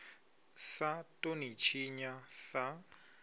sa ḓo ḽi tshinya sa